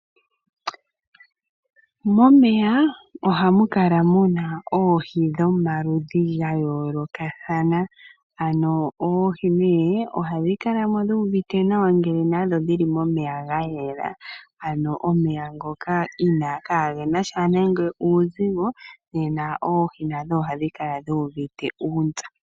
Momeya ohamu kala muna oohi dhomaludhi gayoolokathana. Oohi ohadhi kala dhuuvute nawa ngele dhili momeya gayela, omeya ngoka kaa gena nande uuzigo.